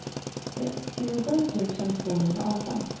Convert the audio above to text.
sextiosju tusen tvåhundraarton